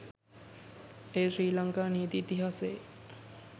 එය ශ්‍රී ලංකා නීති ඉතිහාසයේ